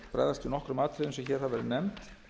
hér hafa verið nefnd